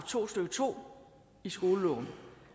to stykke to i skoleloven